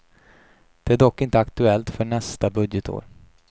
Detta är dock inte aktuellt för nästa budgetår.